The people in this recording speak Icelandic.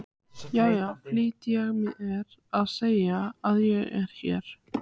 Já, já, flýtti ég mér að segja, ég er hér.